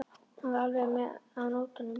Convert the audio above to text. Hann var alveg með á nótunum.